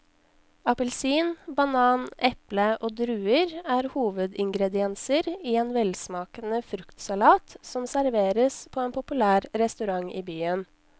Appelsin, banan, eple og druer er hovedingredienser i en velsmakende fruktsalat som serveres på en populær restaurant i byen.